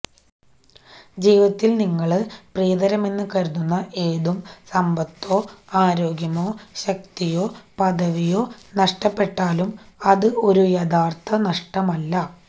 ജീവിതത്തില് നിങ്ങള് പ്രിയതരമെന്ന് കരുതുന്ന ഏതും സമ്പത്തോ ആരോഗ്യമോ ശക്തിയോ പദവിയോ നഷ്ടപ്പെട്ടാലും അത് ഒരു യഥാര്ത്ഥ നഷ്ടമല്ല